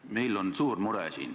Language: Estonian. Meil on siin suur mure.